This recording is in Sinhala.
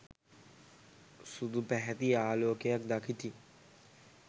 සුදු පැහැති ආලෝකයක් දකිති.